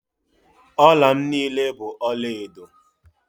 Ọla m niile bụ ọlaedo